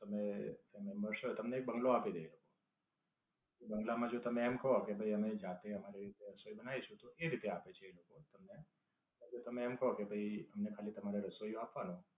તમે દસ મેમ્બર્સ હોય તમને એક બઁગલો આપી દેય એ લોકો. એ બઁગલા માં જો તમે એમ કો કે ભાઈ અમે જાતે અમારી રીતે રસોઈ બનાવીશું તો એ રીતે આપે છે એ લોકો તમને. તમે એક કો કે ભાઈ અમને ખાલી તમારે રસોઈયો આપવાનો